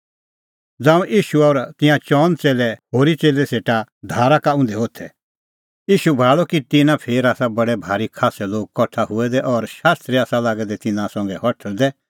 तैबै ईशू आपणैं होरी च़ेल्लै सेटा लै आअ और तेऊ भाल़अ कि तिन्नां फेर आसा बडै भारी खास्सै लोग कठा हुऐ दै और शास्त्री आसा लागै दै तिन्नां संघै हठल़दै